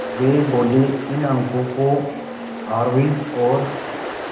वे बोले इन अंकों को आरोही और